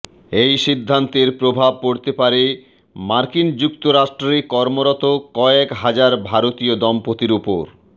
এই সিদ্ধান্তের প্রভাব পড়তে পারে মার্কিন যুক্তরাষ্ট্রে কর্মরত কয়েক হাজার ভারতীয় দম্পতির ওপর